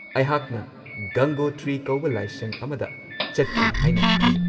ꯑꯩꯍꯥꯛꯅ ꯒꯪꯒꯣꯇ꯭ꯔꯤ ꯀꯧꯕ ꯂꯥꯏꯁꯪ ꯑꯃꯗ ꯆꯠꯈꯤ ꯍꯥꯏꯅ ꯈꯜꯂꯤ꯫